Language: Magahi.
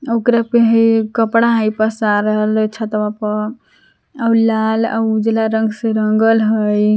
ओकरा पे हइ ए कपड़ा हइ पसारल छतवा पर लाल आर उजला रंग से रंगल हइ।